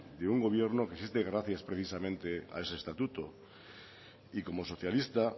de un gobierno que existe gracias precisamente a ese estatuto y como socialista